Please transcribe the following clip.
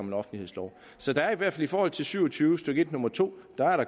en offentlighedslov så der er i hvert fald i forhold til § syv og tyve stykke en nummer to